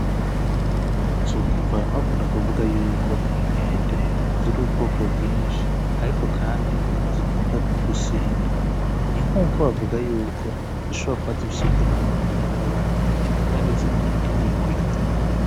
Uzokumva abantu bakunda kuvuga yuko inkende ziri ubwoko bwinshi ariko kandi zikunda no gusinda, ni nk’uko wovuga yuko zishobora kuba zifise ubwenge bungana n’abantu kandi zikunda imihwi.